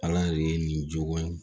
Ala de ye nin jogo in